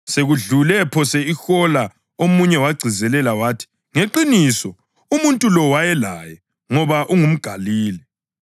Sekudlule phose ihola omunye wagcizelela wathi, “Ngeqiniso umuntu lo wayelaye, ngoba ungumGalile.”